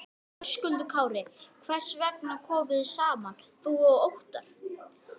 Höskuldur Kári: Hvers vegna komuð þið saman þú og Óttarr?